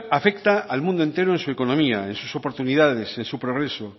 afecta al mundo entero en su economía en sus oportunidades en su progreso